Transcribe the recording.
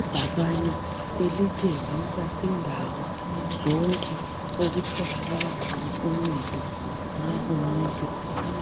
ibhakane elitshengisa indawo zonke okutholakala uncedo nxa umuntu